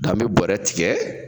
N'an be bɔrɛ tigɛ